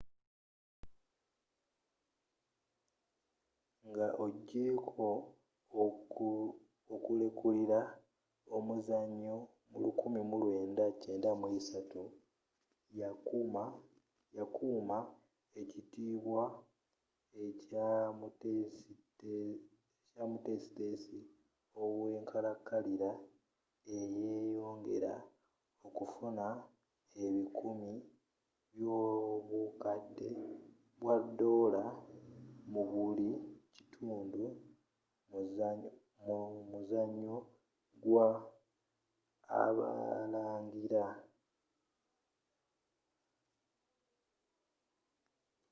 nga ogyeko okulekulira omuzanyo mu 1993 yakuuma ekitiibwa ekya omutesitesi owenkalankalira neyeyongera okufuna ebikumi byobukadde bwa doola mu buli kitundu mu muzanyo gwa abalangira